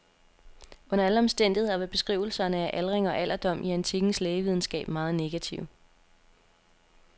Under alle omstændigheder var beskrivelserne af aldring og alderdom i antikkens lægevidenskab meget negative.